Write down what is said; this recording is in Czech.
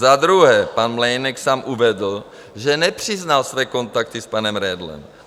Za druhé, pan Mlejnek sám uvedl, že nepřiznal své kontakty s panem Redlem.